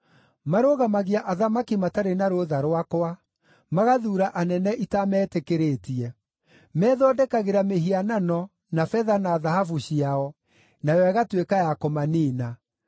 Marũgamagia athamaki matarĩ na rũtha rwakwa, magathuura anene itametĩkĩrĩtie. Methondekagĩra mĩhianano na betha na thahabu ciao, nayo ĩgatuĩka ya kũmaniina.